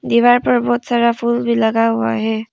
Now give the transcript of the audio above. दीवार पर बहुत सारा फूल भी लगा हुआ है।